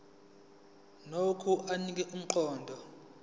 nokho anika umqondo